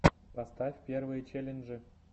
поставь первые челленджи